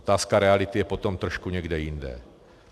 Otázka reality je potom trošku někde jinde.